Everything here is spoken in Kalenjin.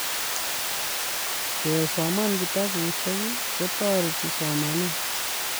kesoman kitabusiek kotoreti somanee